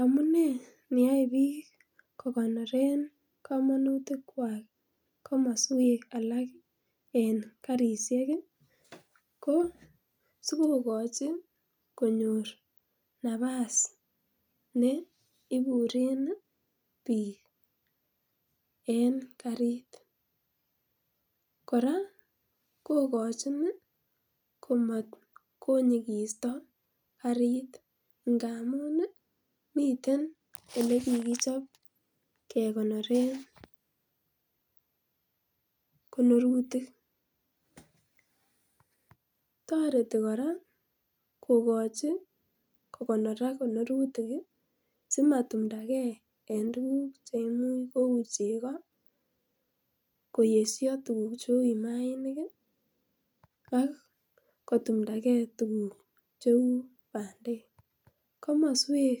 Amunee neyoe biik kokonoren komonutik kwak komoswek alak en karisiek ko sikokochi konyor nafas neiburen biik en karit kora kokochin komatkonyigisto karit ngamun ih miten elekikichob kekonoren konorutik, toreti kora kokochi kokonorak konorutik simatumdagee en tuguk cheimuch kou chego, koyesyo tuguk cheu maaniik ak kotumdagee tuguk cheu bandek komoswek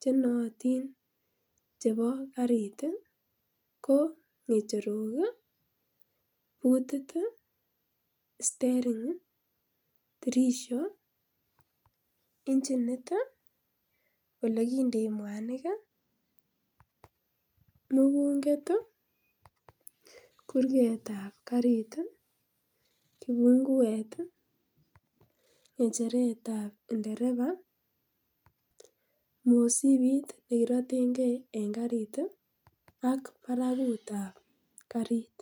chenootin chebo karit ih ko ngecherok ih butit ih stering, tirisho, injinit, olekindoi mwanik ih, mugunget ih kurget ab karit ih kipunguet, ng'echeret ab nderepa, mosibit nekirotengee en karit ak barakut ab karit